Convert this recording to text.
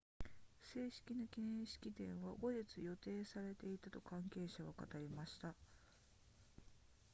正式な記念式典は後日予定されていたと関係者は語りました